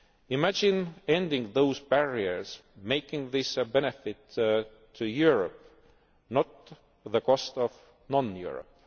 more. Imagine ending those barriers, making this a benefit to Europe, not the cost of non Europe.